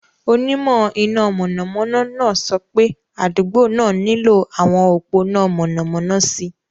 Onímọ̀ iná mọ̀nàmọ́ná náà sọ pé adugbo náà nílò àwọn òpó iná mọ̀nàmọ́ná sí i.